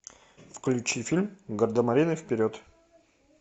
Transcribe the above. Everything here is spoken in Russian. включи фильм гардемарины вперед